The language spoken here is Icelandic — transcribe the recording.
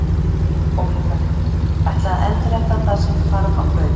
Óli Palli: Ætla að endurheimta það sem hvarf á braut